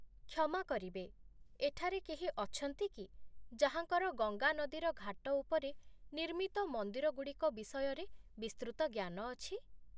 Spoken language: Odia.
କ୍ଷମା କରିବେ, ଏଠାରେ କେହି ଅଛନ୍ତି କି ଯାହାଙ୍କର ଗଙ୍ଗା ନଦୀର ଘାଟ ଉପରେ ନିର୍ମିତ ମନ୍ଦିରଗୁଡ଼ିକ ବିଷୟରେ ବିସ୍ତୃତ ଜ୍ଞାନ ଅଛି?